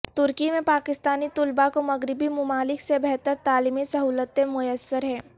ترکی میں پاکستانی طلبا کومغربی ممالک سے بہتر تعلیمی سہولتیں میسر ہیں